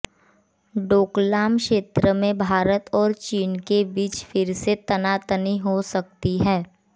डोकलाम क्षेत्र में भारत और चीन के बीच फिर से तनातनी हो सकती है